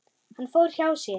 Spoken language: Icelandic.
Hann fór hjá sér.